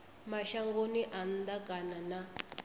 mashangoni a nnḓa kana na